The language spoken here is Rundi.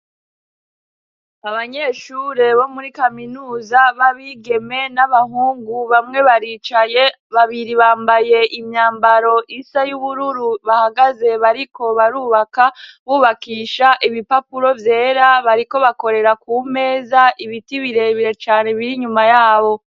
abanyeshure bo muri kaminuza babigeme n'abahungu bamwe baricaye babiri bambaye imyambaro isa y'ubururu bahagaze bariko barubaka bubakisha ibipapuro vyera bariko bakorera ku meza ibiti birebire cane biri nyuma yabo